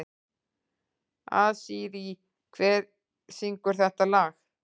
Asírí, hver syngur þetta lag?